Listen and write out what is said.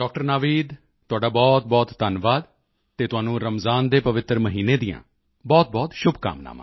ਨਵੀਦ ਤੁਹਾਡਾ ਬਹੁਤਬਹੁਤ ਧੰਨਵਾਦ ਅਤੇ ਤੁਹਾਨੂੰ ਰਮਜਾਨ ਦੇ ਪਵਿੱਤਰ ਮਹੀਨੇ ਦੀਆਂ ਬਹੁਤਬਹੁਤ ਸ਼ੁਭਕਾਮਨਾਵਾਂ